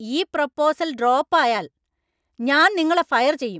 ഈ proposal‍ drop ആയാല്‍ ഞാന്‍ നിങ്ങളെ ഫയര്‍ ചെയ്യും.